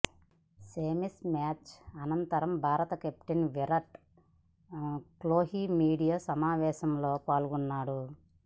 semis match అనంతరం భారత captain Virat Kohli media సమావేశంలో పాల్గొన్నాడు